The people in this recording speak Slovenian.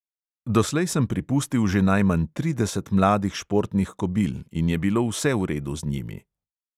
Doslej sem pripustil že najmanj trideset mladih športnih kobil in je bilo vse v redu z njimi.